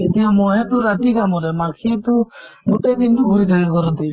এতিয়া মহে টো ৰাতি কামুৰে, মাখি টো গোতেই দিন টো ঘুৰি থাকে ঘৰতে